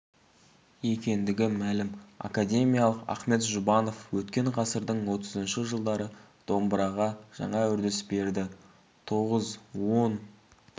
екендігі мәлім академик ахмет жұбанов өткен ғасырдың отызыншы жылдары домбыраға жаңа үрдіс берді тоғыз он